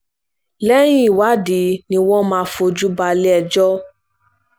lẹ́yìn ìwádìí ni wọ́n máa fojú balẹ̀-ẹjọ́